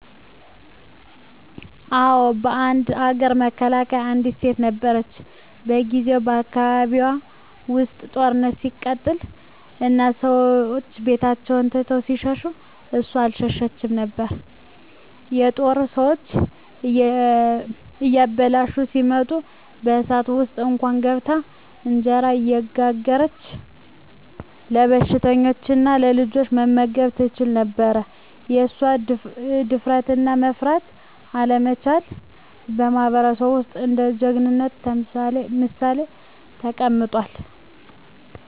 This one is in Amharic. አዎ፣ በአንድ አገር መካከል አንዲት ሴት ነበረች። በጊዜው በአካባቢዋ ውስጥ ጦርነት ሲቀጥል እና ሰዎች ቤታቸውን ትተው ሲሸሹ እሷ አልሸሸችም ነበር። የጦር ሰዎች እያበላሹ ሲመጡ በእሳት ውስጥ እንኳን ገብታ እንጀራ እየጋገረች ለበሽተኞችና ለልጆች መመገብ ትችላ ነበር። የእሷ ድፍረትና መፍራት አለመቻል በማህበረሰቡ ውስጥ እንደ ጀግናነት ምሳሌ ተቀምጧል።